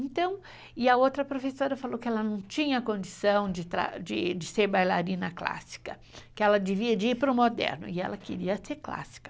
Então, e a outra professora falou que ela não tinha condição de ser bailarina clássica, que ela devia de ir para o moderno, e ela queria ser clássica.